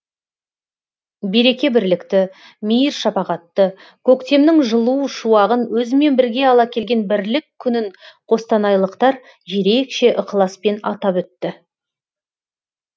береке бірлікті мейір шапағатты көктемнің жылу шуағын өзімен бірге ала келген бірлік күнін қостанайлықтар ерекше ықыласпен атап өтті